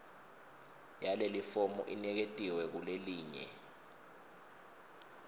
yalelifomu iniketiwe kulelelinye